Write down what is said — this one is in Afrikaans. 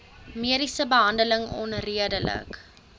mediese behandeling onredelik